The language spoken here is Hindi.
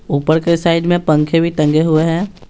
ऊपर के साइड में पंखे भी टंगे हुए हैं।